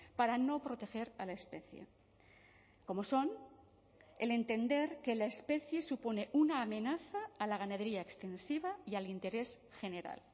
para no proteger a la especie como son el entender que la especie supone una amenaza a la ganadería extensiva y al interés general